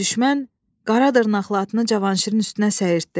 Düşmən qara dırnaqlı atını Cavanşirin üstünə səyirtdi.